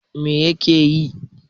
Me yake yi?